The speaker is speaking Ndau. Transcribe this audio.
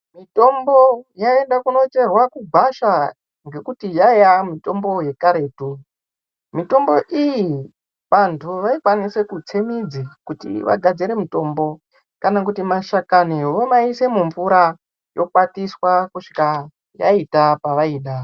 Mitombo yaienda kunocherwa kugwasha ngekuti yaiya mitombo yekaretu. Mitombo iyi vantu vaikwanise kutse midzi kuti vagadzire mutombo kana kuti mashakani vomaise mumvura yokwatiswa kusvika yaita pevaida.